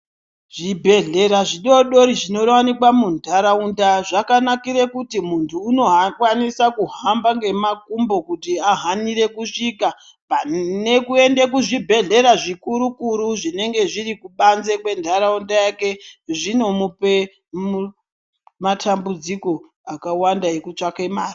Zvibhedhlera zvidodori zvinowanikwa muntaraunta zvakanakira kuti muntu anokwanisa kuhamba ngemakumbo kuti ahanire kusvika panekuenda kuzvibhedhlera zvikuru-kuru zvinenge zviri kubanze kwentaraunta yake .Zvinomupa matambudziko akawanda ekutsvaka mari.